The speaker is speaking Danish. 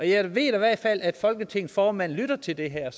jeg ved i hvert fald at folketingets formand lytter til det her